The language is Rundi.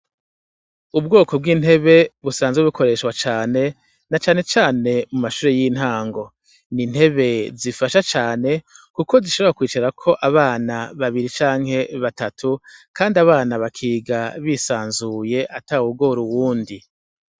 Ubwoko bw'intebe busanzwe bukoreshwa cane, na cane cane mu mashure y'intango, n'intebe zifasha cane kuko zishobora kwicarako abana babiri canke batatu, kandi abana bakiga bisanzuye atawugor'uwundi.